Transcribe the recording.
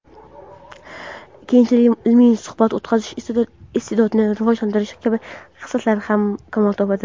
keyinchalik ilmiy suhbat o‘tkazish iste’dodini rivojlantirish kabi xislatlari ham kamol topadi.